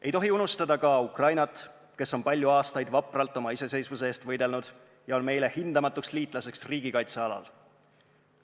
Ei tohi unustada ka Ukrainat, kes on palju aastaid vapralt oma iseseisvuse eest võidelnud ja on meile hindamatuks liitlaseks riigikaitse alal.